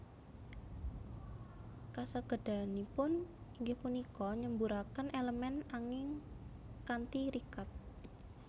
Kasagedanipun inggih punika nyemburaken elemen angin kanthi rikat